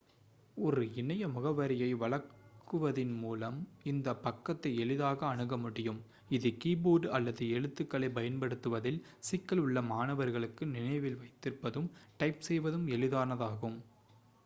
ஒரு இணைய முகவரியை வழங்குவதன் மூலம் இந்த பக்கத்தை எளிதாக அணுக முடியும் இது கீபோர்டு அல்லது எழுத்துக்களை பயன்படுத்துவதில் சிக்கல் உள்ள மாணவர்களுக்கு நினைவில் வைத்திருப்பதும் டைப் செய்வதும் எளிதானதாகும்